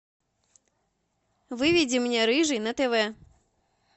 выведи мне рыжий на тв